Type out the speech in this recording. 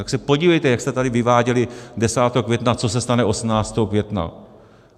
Tak se podívejte, jak jste tady vyváděli 10. května, co se stane 18. května.